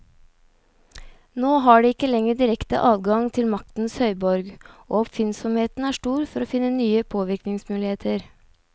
Nå har de ikke lenger direkte adgang til maktens høyborg, og oppfinnsomheten er stor for å finne nye påvirkningsmuligheter.